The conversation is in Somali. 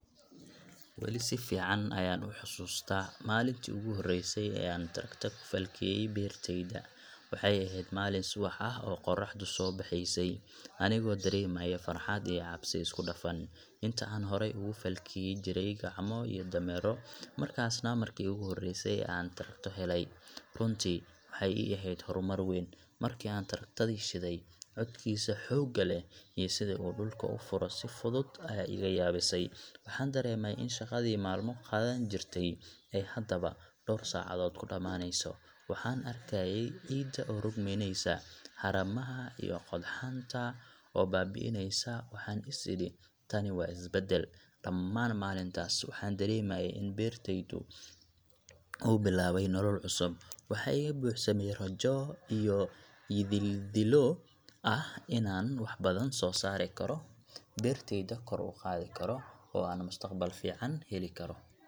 Weli si fiican ayaan u xasuustaa maalintii ugu horreysay ee aan traktor ku falkiyay beerteyda. Waxay ahayd maalin subax ah oo qorraxdu soo baxeysay, anigoo dareemaya farxad iyo cabsi isku dhafan. Inta aan horey ugu falki jiray gacmo iyo dameero, markaasna markii ugu horreysay aan traktor helay, runtii waxay ii ahayd horumar weyn. Markii aan traktor-di shiday, codkiisa xoogga leh iyo sida uu dhulka u furo si fudud ayaa iga yaabisay. Waxaan dareemay in shaqadii maalmo qaadan jirtay, ay haddaba dhowr saacadood ku dhamaaneyso. Waxaan arkayay ciidda oo rogmaneysa, haramaha iyo qodxanta oo baaba’eneysa, waxaan is iri: Tani waa isbeddel. Dhammaan maalintaas, waxaan dareemayay in beertayda uu bilaabay nolol cusub. Waxaa iga buuxsamay rajo iyo yididiilo ah inaan wax badan soo saari karo, beertayda kor u qaadi karo, oo aan mustaqbal fiican heli karo.